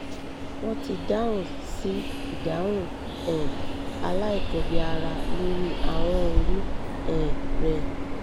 wọ́n ti dáhùn sí ìdáhùn um aláìkọbìára lórí ahọ́n orí um rẹ